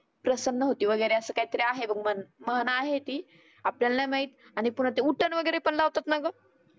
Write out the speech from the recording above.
प्रसन्न होते असं वगैरे काही तरी आहे मन म्हण आहे ती. आपल्याला नाही माहित. आणि पुन्हा ते उटन वगैरे पण लावतात ना गं?